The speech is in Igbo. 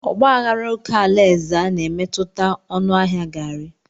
Ọgba aghara oke ala Ezza na-emetụta ọnụ ahịa garri.